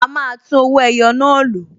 A máa tún owó ẹyọ náà lò